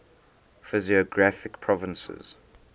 physiographic provinces